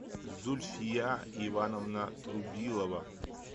зульфия ивановна трубилова